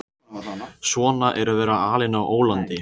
Svona er að vera alinn á ólandi.